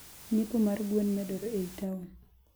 nyiepo mar gwn medore eiy taon.